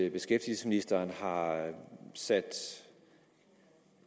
at beskæftigelsesministeren har sat